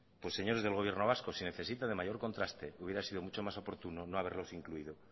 pues señores del gobierno vasco si necesitan de mayor contraste hubiera sido mucho más oportuno no haberlos incluido